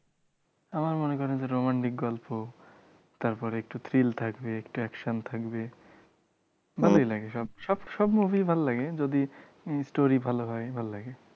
আমার মনে করেন যে একটু romantic গল্প তারপর একটু thrill থাকবে একটু action থাকবে ভালই লাগে সব সব সব movie ই ভালো লাগে যদি story ভালো হয় ভালো লাগে